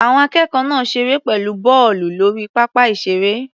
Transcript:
Àwọn akẹ́kọ̀ọ́ náà ṣeré pẹ̀lú bọ́ọ̀lù lórí pápá ìṣeré.